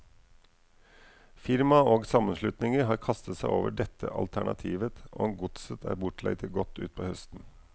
Firmaer og sammenslutninger har kastet seg over dette alternativet, og godset er bortleid til godt utpå høsten.